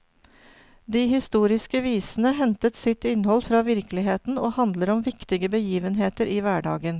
De historiske visene hentet sitt innhold fra virkeligheten, og handler om viktige begivenheter i hverdagen.